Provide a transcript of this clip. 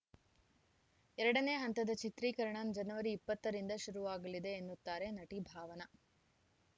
ಎರಡನೇ ಹಂತದ ಚಿತ್ರೀಕರಣ ಜನವರಿ ಇಪ್ಪತ್ತ ರಿಂದ ಶುರುವಾಗಲಿದೆ ಎನ್ನುತ್ತಾರೆ ನಟಿ ಭಾವನಾ